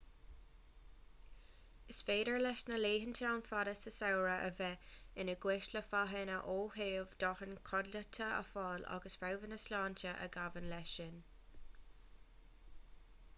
is féidir leis na laethanta an-fhada sa samhradh a bheith ina gcúis le fadhbanna ó thaobh dóthain codlata a fháil agus fadbhanna sláinte a ghabhann leis sin